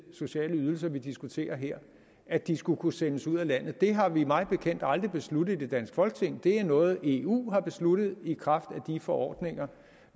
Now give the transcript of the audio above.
sociale ydelser vi diskuterer her at de skulle kunne sendes ud af landet det har vi mig bekendt aldrig besluttet i det danske folketing det er noget eu har besluttet i kraft af de forordninger